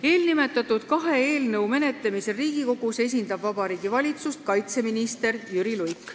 Eelnimetatud kahe eelnõu menetlemisel Riigikogus esindab Vabariigi Valitsust kaitseminister Jüri Luik.